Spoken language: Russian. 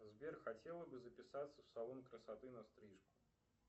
сбер хотела бы записаться в салон красоты на стрижку